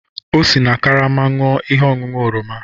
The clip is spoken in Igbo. O si na karama ṅụọ ihe ọṅụṅụ oroma.